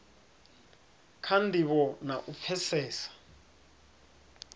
kha ndivho na u pfesesa